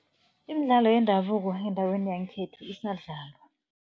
Imidlalo yendabuko endaweni yangekhethu isadlalwa.